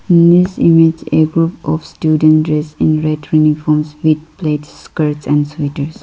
In this image a group of student dress in red uniforms with red skirts and sweaters.